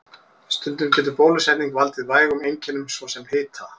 Stundum getur bólusetning valdið vægum einkennum, svo sem hita.